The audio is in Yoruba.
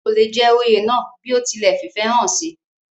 kò le jẹ oyè náà bí ó ti lẹ̀ fìfẹ́ hàn sí i